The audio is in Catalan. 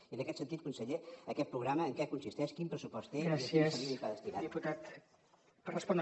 i en aquest sentit conseller aquest programa en què consisteix quin pressupost té i a quines famílies va destinat